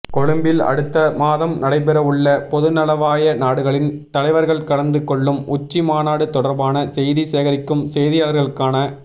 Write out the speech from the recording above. கொழும்பில் அடுத்த மாதம் நடைபெறவுள்ள பொதுநலவாய நாடுகளின் தலைவர்கள் கலந்து கொள்ளும் உச்சி மாநாடு தொடர்பான செய்தி சேகரிக்கும் செய்தியாளர்களுக்கான